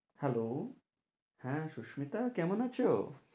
Hello হ্যাঁ সুস্মিতা কেমন আছো?